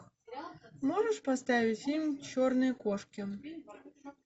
можешь поставить фильм черные кошки